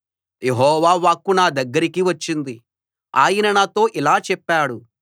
యెహోవా వాక్కు నా దగ్గరకి వచ్చింది ఆయన నాతో ఇలా చెప్పాడు